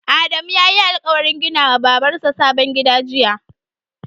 Adamu yayi alƙawarin gina wa Babar sa sabon gida jiya?